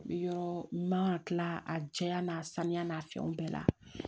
Yɔrɔ man ka tila a diya n'a saniya n'a fɛnw bɛɛ la